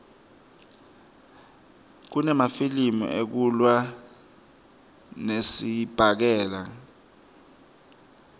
kunemafilimi ekulwa ngesibhakela